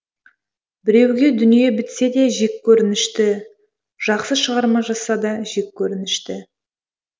біреуге дүние бітсе де жеккөрінінішті жақсы шығарма жазса да жеккөрінішті